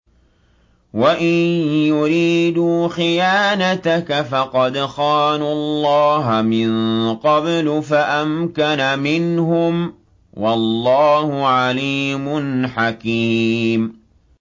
وَإِن يُرِيدُوا خِيَانَتَكَ فَقَدْ خَانُوا اللَّهَ مِن قَبْلُ فَأَمْكَنَ مِنْهُمْ ۗ وَاللَّهُ عَلِيمٌ حَكِيمٌ